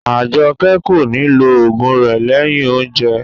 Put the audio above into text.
Ajoke ko ni lo ogun rẹ lẹyìn oúnjẹ.